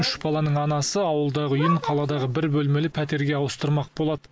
үш баланың анасы ауылдағы үйін қаладағы бір бөлмелі пәтерге ауыстырмақ болады